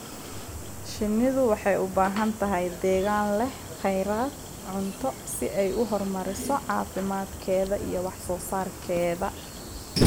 Shinnidu waxay u baahan tahay deegaan leh kheyraad cunto si ay u horumariso caafimaadkeeda iyo wax soo saarkeeda.